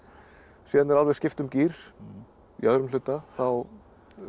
síðan er alveg skipt um gír í öðrum hluta þá